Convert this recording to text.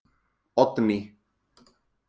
Oddný